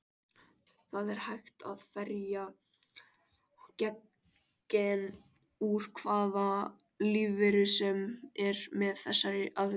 Það er hægt að ferja gen úr hvaða lífveru sem er með þessari aðferð.